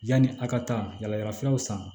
Yanni a ka taa yala yalafuraw san